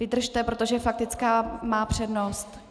Vydržte, protože faktická má přednost.